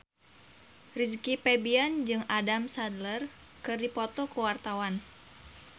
Rizky Febian jeung Adam Sandler keur dipoto ku wartawan